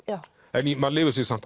en maður lifir sig samt